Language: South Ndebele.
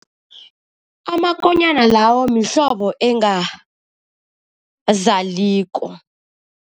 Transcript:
Amakonyana lawo mhlobo engazaliko.